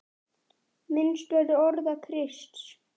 Minnst verður orða Krists.